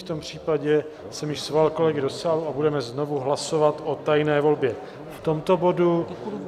V tom případě jsem již svolal kolegy do sálu a budeme znovu hlasovat o tajné volbě v tomto bodu.